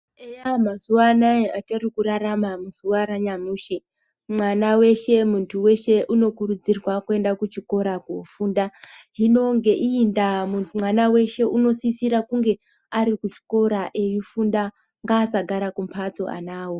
Eya mumazuvaana atiri kurarama muzuva ranyamushi mwana weshe muntu weshe unokurudzirwa kuenda kuchikora koofunda. Hino ngeiyi ndaa mwana weshe unosisira kunge arikuchikora eifunda. Ngaasagara kumhatso anawo.